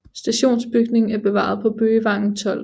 Stationsbygningen er bevaret på Bøgevangen 12